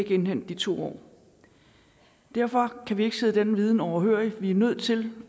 indhente de to år derfor kan vi ikke sidde denne viden overhørig vi er nødt til